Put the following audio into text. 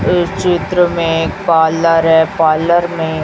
इस चित्र में पार्लर पार्लर है पार्लर में--